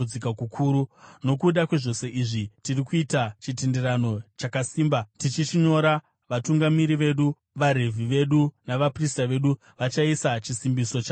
“Nokuda kwezvose izvi, tiri kuita chitenderano chakasimba, tichichinyora, vatungamiri vedu, uye vaRevhi vedu navaprista vedu vachaisa chisimbiso chavo pachiri.”